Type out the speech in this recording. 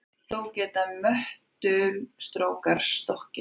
Þó geta möttulstrókar stokkið.